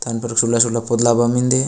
तन पर सोडला - सोडला पोडलावा मिन्दे।